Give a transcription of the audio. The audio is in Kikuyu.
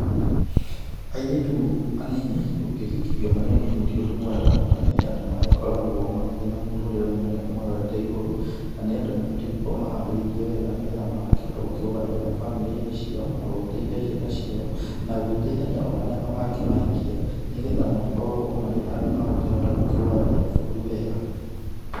Airĩtu anini, gũkĩhikithio marĩ anini tĩ ũndũ mwega na nĩ andũ magĩkoragwo makĩrĩ na mũtũrĩre mũnene ũmarorete igũrũ, na nĩ andũ mabatiĩ gũkorwo maharĩrĩirio wega nĩgetha magakĩhota gũkĩrugamĩrĩra bamĩrĩ-inĩ ciao na gũgĩteithia ciana ciao na gũgĩteithania ona arĩa magakĩmahikia nĩgetha makorwo marĩ andũ magũkĩhota gũkĩrũgamĩrĩra bũrũri wega.